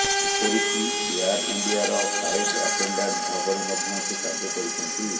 ଏପରିକି ଏୟାର୍ ଇଣ୍ତିଆର flight attendant ଭାବରେ ମଧ୍ୟ ସେ କାର୍ଯ୍ୟ କରିଛନ୍ତି